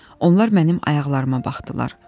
Onlar mənim ayaqlarıma baxdılar.